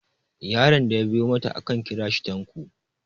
yaron da ya biyo mata akan kira shi tanko